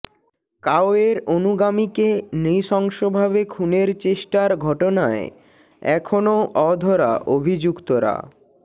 কাওয়ের অনুগামীকে নৃশংসভাবে খুনের চেষ্টার ঘটনায় এখনও অধরা অভিযুক্তরা